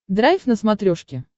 драйв на смотрешке